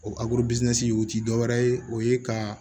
O o ti dɔwɛrɛ ye o ye ka